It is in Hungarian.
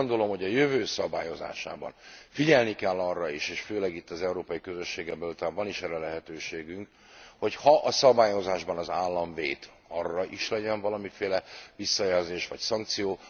Én úgy gondolom, hogy a jövő szabályozásában figyelni kell arra is és főleg itt az Európai Közösségen belül talán van is erre lehetőségünk hogy ha a szabályozásban az állam vét, arra is legyen valamiféle visszajelzés vagy szankció.